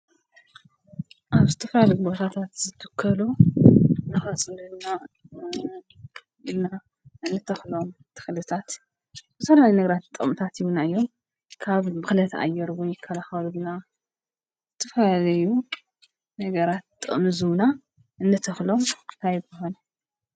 ኣብ ስተፍራልግበታታት ዘትከሉ ንኻጽለዩና ኢልና እንተኽሎም ተኽልታት ብሠናይ ነግራት ጠምታት ይዉናዮም ካብ ብኽለት ኣየርዉን ይካልኻሉ ግና ትፈዘዩ ነገራት ጠምዙና እነተኽሎም ታይ ይበሃሉ?